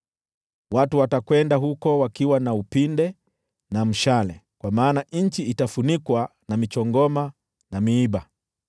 Watu watakwenda huko wakiwa na upinde na mshale, kwa maana nchi itafunikwa na michongoma na miiba.